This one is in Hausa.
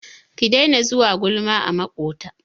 Ki daina zuwa gulma a maƙwabta!